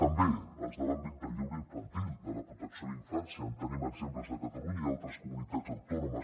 també els de l’àmbit del lleure infantil de la protecció a la infància en tenim exemples a catalunya i a altres comunitats autònomes